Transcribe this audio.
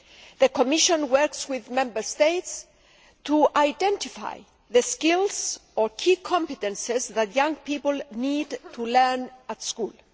The Commission works with Member States to identify the skills or key competences that young people need to learn at school.